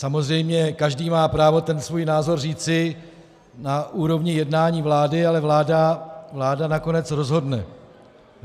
Samozřejmě každý má právo ten svůj názor říci na úrovni jednání vlády, ale vláda nakonec rozhodne.